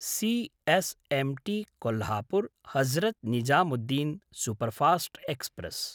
C S M T कोल्हापुर्–हजरत् Nizamuddin superfast express